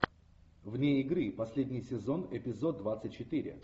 вне игры последний сезон эпизод двадцать четыре